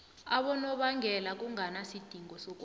abonobangela kunganasidingo sokobana